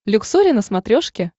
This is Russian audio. люксори на смотрешке